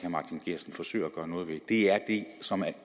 forsøger at gøre noget ved er det som